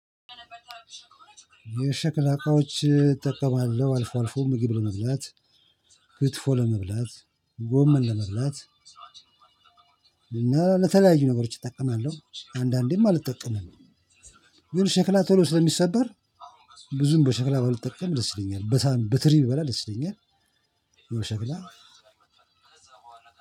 የሸክላ እቃዎች እጠቀማለሁ አልፎ አልፎ ምግብ ለመብላት ክትፎ ለመብላት ጎመን ለመብላት እና ለተለያዩ ነገሮች እጠቀማለሁ አንዳንዴም አልጠቀምም። ግን ሸክላ ቶሎ ስለሚሰበር ብዙም በሸክላ ባልጠቀም ደስ ይለኛል። በሰሀን በትሪ ብበላ ደስ ይለኛል። ወይ በሸክላ